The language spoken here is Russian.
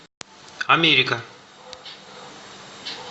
америка